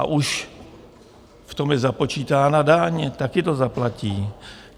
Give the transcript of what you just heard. A už v tom je započítána daň, taky to zaplatí.